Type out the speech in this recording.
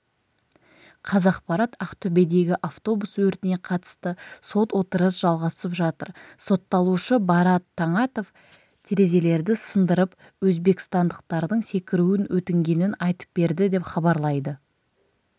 қазақпарат ақтөбедегі автобус өртіне қатысты сот отырысы жалғасып жатыр сотталушы барат таңатов терезелерді сындырып өзбекстандықтардың секіруін өтінгенін айтып берді деп хабарлайды